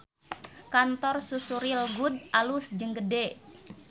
Kantor Susu Real Good alus jeung gede